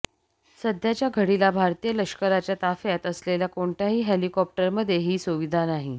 सध्याच्या घडीला भारतीय लष्कराच्या ताफ्यात असलेल्या कोणत्याही हेलिकॉप्टरमध्ये ही सुविधा नाही